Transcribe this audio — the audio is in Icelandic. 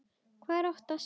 Hvað er að óttast?